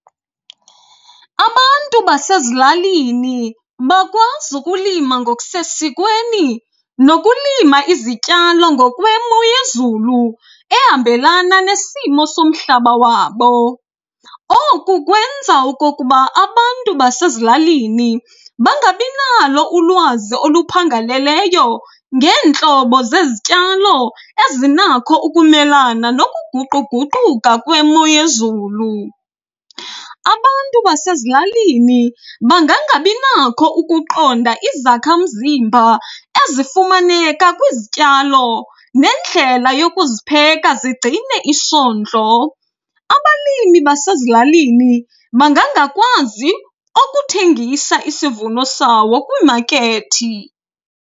Abantu basezilalini bakwazi ukulima ngokusesikweni nokulima izityalo ngokwemo yezulu ehambelana nesimo somhlaba wabo. Oku kwenza okokuba abantu basezilalini bangabi nalo ulwazi oluphangaleleyo ngeentlobo zezityalo ezinakho ukumelana nokuguquguquka kwemo yezulu. Abantu basezilalini bangangabi nakho ukuqonda izakha mzimba ezifumaneka kwizityalo nendlela yokuzipheka zigcine isondlo. Abalimi basezilalini bangangakwazi ukuthengisa isivuno sawo kwimakethi.